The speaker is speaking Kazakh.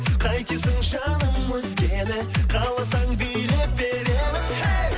қайтесің жаным өзгені қаласаң билеп беремін әй